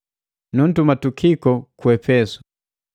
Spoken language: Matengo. Nuntuma Tukiko ku Epesu.